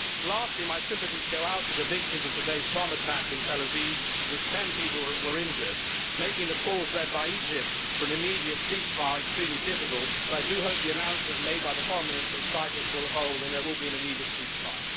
Lastly, my sympathies go out to the victims of today's bomb attack in Tel Aviv in which 10 people were injured, making the calls led by Egypt for an immediate ceasefire extremely difficult, but I do hope the announcement made by the Foreign Minister of Cyprus will hold and there will be an immediate ceasefire.